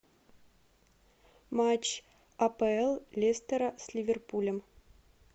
матч апл лестера с ливерпулем